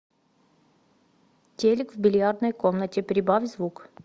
телик в бильярдной комнате прибавь звук